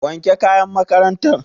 Wanke kayan makarantar.